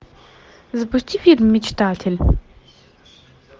запусти фильм мечтатель